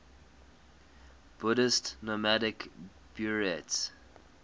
buddhist nomadic buryats